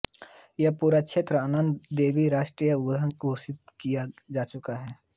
यह पूरा क्षेत्र नन्दा देवी राष्ट्रीय उद्यान घोषित किया जा चुका है